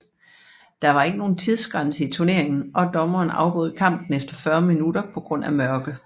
Der var ikke nogen tidsgrænse i turneringen og dommeren afbrød kampen efter 40 minutter på grund af mørke